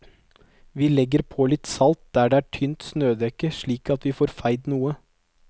Vi legger på litt salt der det er tynt snødekke slik at vi får feid noe.